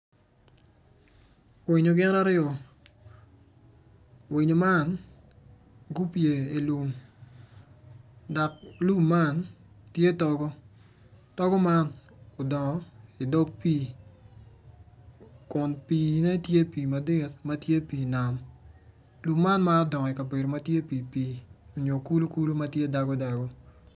Winyo gin aryo winyo ma gupye i lum dok lum man tye togo, togo man odongo i dog pi, kun pi ne tye pi madit matye pi nam, togo man ma odongo i kabedo matye pi pi onyo kulu kulu matye dabo dabo.